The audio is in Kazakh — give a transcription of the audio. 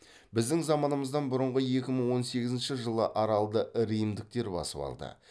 біздің заманымыздан бұрынғы екі мың он сегізінші жылы аралды римдіктер басып алды